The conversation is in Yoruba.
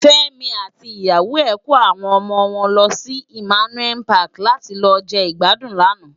Femi àti iyàwó è kó áwòn òmò wòn lòsi Immanuel Pàki làti lò je igbàdún làná